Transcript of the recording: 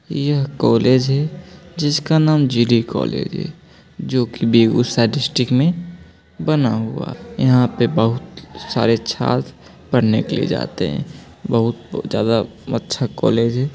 ये कॉलेज है जिसका नाम जी.डी. कॉलेज है जो की बेगुसराय डिस्ट्रिक्ट मे बना हुआ है यहाँ पे बहुत सारे छात्र पढ़ने के लिए जाते है बहुत ज्यादा अच्छा कॉलेज है।